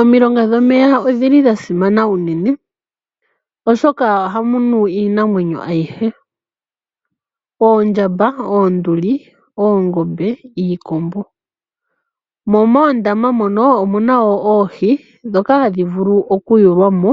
Omilonga dhomeya odha simana unene, oshoka ohamu nu iinamwenyo ayihe. Oondjamba, oonduli, oongombe niikombo. Mo moondama mono omu na wo oohi ndhoka hadhi vulu okuyulwa mo